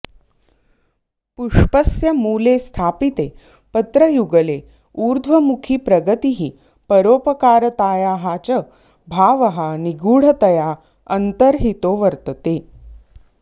पुष्पस्य मूले स्थापिते पत्रयुगले ऊर्ध्वमुखीप्रगतिः परोपकारतायाश्च भावः निगूढतया अन्तर्हितो वर्तते